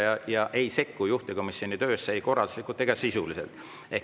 ei sekku juhtivkomisjoni töösse ei korralduslikult ega sisuliselt.